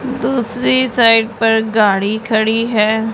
दूसरी साइड पर गाड़ी खड़ी है।